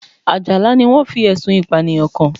Àjàlá ni wọ́n fi Ẹ̀sùn Ìpànìyàn kàn